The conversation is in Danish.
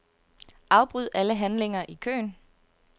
Afbryd alle handlinger i køen.